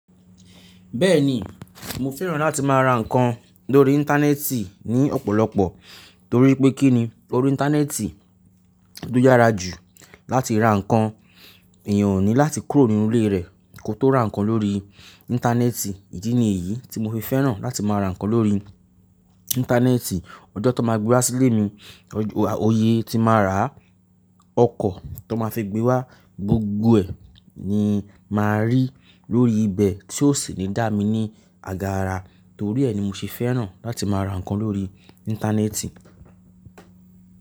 Bẹ́ẹ̀ni, mo fẹ́ràn láti má ra ǹkan lórí Íńtánẹ́ẹ̀tì ní ọ̀pọ̀lọpọ̀ torí pé kí ni órí Íńtánẹ́ẹ̀tì lo yára jù láti ra ǹkan. Èèyàn ò ní láti kúrò nínú ilé rẹ̀ kó tó ra ǹkan lórí Íńtánẹ́ẹ̀tì. Ìdí nì eyí tí mo fi fẹ́ràn láti má ra ǹkan lórí Íńtánẹ́ẹ̀tì. Ọjọ́ tán má gbé wá sílé mi, oye tí má ra ọkọ̀ tó má fi gbé wá gbogbo ẹ̀ ni má rí lórí ibẹ̀ tí yóò sì ní dá mi ní àgàrà. Torí ẹ ni mo ṣe fẹ́ràn láti má ra ǹkan lórí Íńtánẹ́ẹ̀tì.